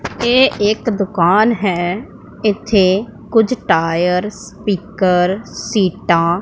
ये एक दुकान हैं इथै कुछ टायर्स स्पीकर्स सीटा --